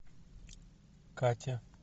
катя